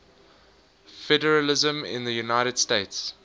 federalism in the united states